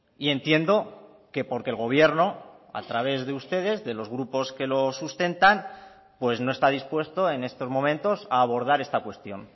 y entiendo que porque el gobierno a través de ustedes de los grupos que lo sustentan pues no está dispuesto en estos momentos a abordar esta cuestión